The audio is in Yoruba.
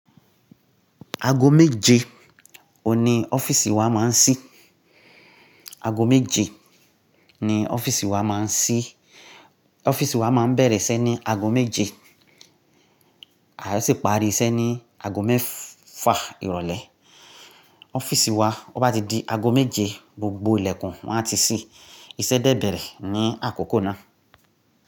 Aago méje òní ọ́fíìsì wa máa ń ṣí. Aago méje ni ọ́fíìsì wa máa ń ṣí. Ọ́fíìsì wa máa ń bẹ̀rẹ̀ iṣẹ́ ní aago méje, a sì pàri iṣẹ́ ní aago mẹ́fa ìrọ̀lẹ́. Ọ́fíìsì wa bobá ti di agọ́ méje, gbogbo ilẹ̀kùn won a ti ṣí, iṣẹ́ dẹ́ bẹ̀rẹ̀ ní àkókò náà.